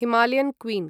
Himalayan queen